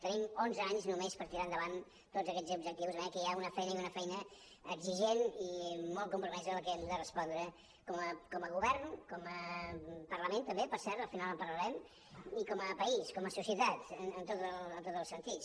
tenim onze anys només per tirar endavant tots aquests objectius de manera que hi ha una feina i una feina exigent i molt compromesa a la que hem de respondre com a govern com a parlament també per cert al final en parlarem i com a país com a societat en tots els sentits